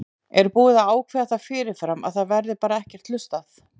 Er búið að ákveða það fyrirfram að það verði bara ekkert hlustað?